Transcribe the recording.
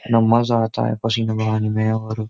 न मजा आता है पसीना बहाने में और --